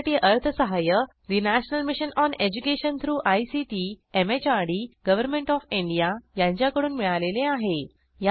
यासाठी अर्थसहाय्य national mission on education through ICT MHRD government O F India यांच्याकडून मिळालेले आहे